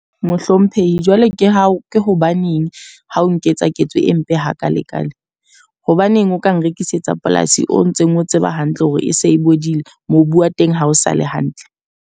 Mohlomphehile, jwale ke hao ke hobaneng ha o nketsa ketso e mpe hakalekale. Hobaneng o ka nrekisetsa polasi o ntseng o tseba hantle hore e se e bodile, mobu wa teng ha o sale hantle.